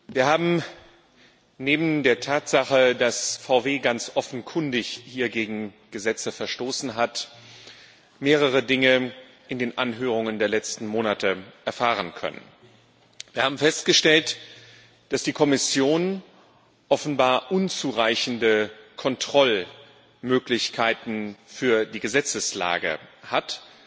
Wir haben neben der Tatsache, dass VW ganz offenkundig hier gegen Gesetze verstoßen hat, in den Anhörungen der letzten Monate mehrere Dinge erfahren können Wir haben festgestellt, dass die Kommission offenbar unzureichende Kontrollmöglichkeiten für die Gesetzeslage hat,